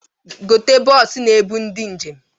Gote bọọsụ na-ebu ndị njem!